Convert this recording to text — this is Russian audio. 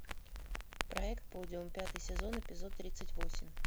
проект подиум пятый сезон эпизод тридцать восемь